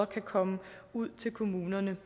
kan komme ud til kommunerne